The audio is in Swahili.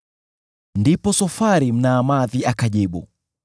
Ndipo Sofari Mnaamathi akajibu: